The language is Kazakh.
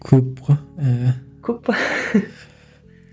көп қой ііі көп пе